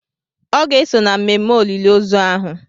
Ọ ga-eso na mmemme olili ozu ahụ.